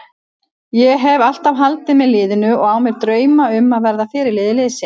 Ég hef alltaf haldið með liðinu og á mér drauma um að verða fyrirliði liðsins.